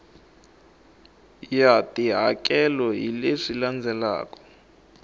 ya tihakelo hi leswi landzelaka